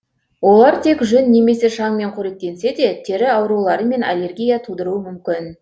олар тек жүн немесе шаңмен қоректенсе де тері аурулары мен аллергия тудыруы мүмкін